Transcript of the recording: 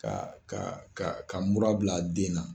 Ka ka mura bila den na.